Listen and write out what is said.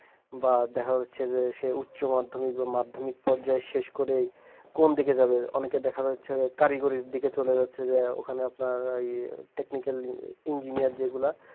বা দেখা যাচ্ছে যে সে উচ্চ মাধ্যমিক বা মাধ্যমিক পর্যায়ে শেষ করে কোন দিকে যাবে অনেকে দেখা যাচ্ছে কারিগরির দিকে চলে যাচ্ছে যে ওখানে আপনার ইয়ে tecninakal enjiniyar যেগুলা